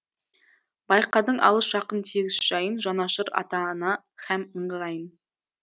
байқадың алыс жақын тегіс жайын жанашыр ата ана һәм ыңғайын